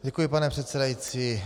Děkuji, pane předsedající.